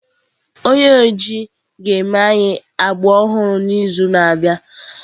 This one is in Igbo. Onye oji ga-eme anyị agbụ ọhụrụ n'izu na-abịa.